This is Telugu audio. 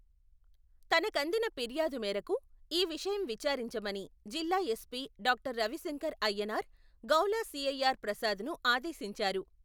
తనకందిన ఫిర్యాదు మేరకు, ఈ విషయం విచారించమని, జిల్లా ఎస్పీ డాక్టర్ రవిశంకర్ అయ్యనార్, గౌలా సి.ఐ.ఆర్.ప్రసాదును ఆదేశించారు.